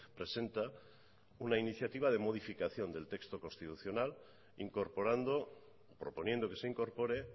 presenta una iniciativa de modificación del texto constitucional incorporando proponiendo que se incorpore